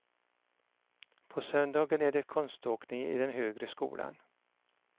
På söndagen är det konståkning i den högre skolan.